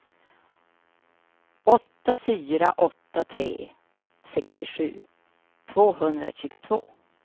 åtta fyra åtta tre sextiosju tvåhundratjugotvå